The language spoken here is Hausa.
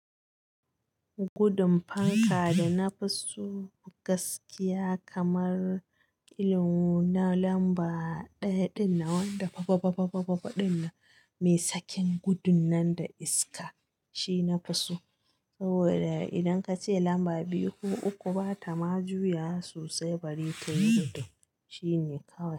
Gudun fanka da na fi so gaskiya kamar irin na lamba ɗaya dinnan wanda fa fa fa fa fa fa fa ɗin na, mai sakin gudun nan da iska shi na fi so. Saboda idan ka ce lamba biyu ko uku ba ta ma juya sosai bari tayi gudo shine kawai.